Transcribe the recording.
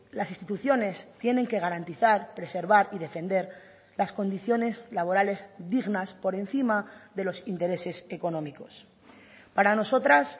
las instituciones tienen que garantizar preservar y defender las condiciones laborales dignas por encima de los intereses económicos para nosotras